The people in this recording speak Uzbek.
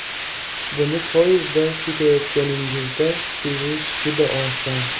Buni poyezdda ketayotganingizda sezish juda oson.